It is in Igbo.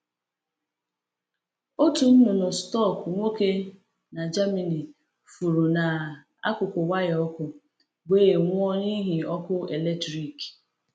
Otu nnụnụ stọk nwoke n’Germany furu n’akụkụ waya ọkụ, wee nwụọ n’ihi ọkụ eletrik.